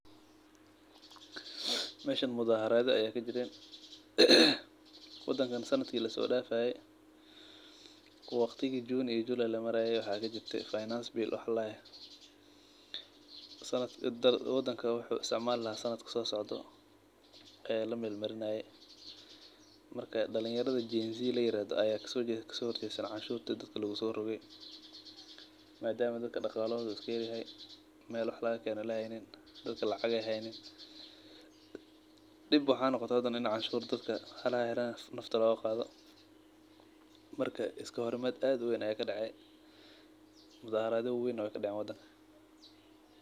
Meshan mudaharadho aya kajiran wadankan sanadka laso dafaye oo June iyo July waxaa kajirte wax ladahayo csfinance bill wadanka wuxuu isticmali laha aya la meel marinaye marka dalin yaradha genzi layirado aya dadka kaso horgesten cashurta dadka laguso roge madama dadka daqalohodha u iska yar yahay meel wax laga keno ee jirin dadka lacag ee haynin dib waxaa noqote dadka cashur bixinayan in lacagta loga qadho marka iska horimaad aad uweyn aya kadace mudaharadha wawena we kadacen wadanka.